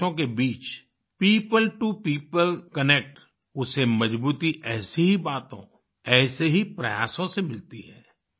दो देशों के बीच पियोपल टो पियोपल कनेक्ट उसे मजबूती ऐसी ही बातों ऐसे ही प्रयासों से मिलती है